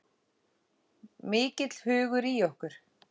Mikill hugur í okkur